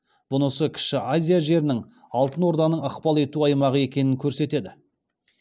бұнысы кіші азия жерінің алтын орданың ықпал ету аймағы екенін көрсетеді